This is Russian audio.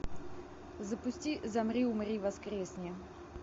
запусти замри умри воскресни